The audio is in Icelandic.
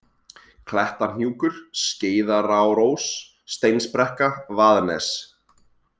Klettahnjúkur, Skeiðarárós, Steinsbrekka, Vaðnes